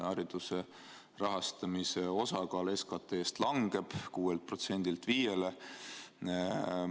Hariduse rahastamise osakaal SKT‑s langeb 6%‑lt 5%‑le.